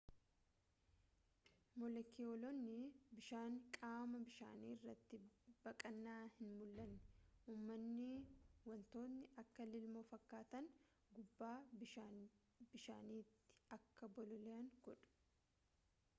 moolekiyuloonni bishaanii qaama bishaanii irratti baqqaana hin mul'anne umanii wantoonni akka lilmoo fakkaatan gubbaa bishaaniitti akka bololi'an godhu